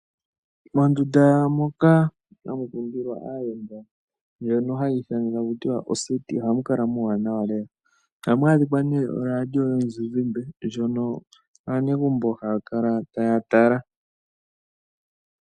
Mondunda moka hamu kindilwa aayenda haku tiwa oseti ohamu kala muuwanawa lela. Ohamu kala oradio yomuzinzimbe ndjono aanegumbo haya kala taya tala.